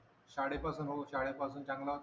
शाळेपासून चांगला होता का